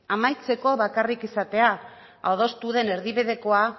amaitzeko bakarrik esatea adostu den erdibidekoa